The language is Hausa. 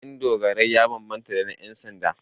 Kayan dogarai ya bambanta da na 'yansanda.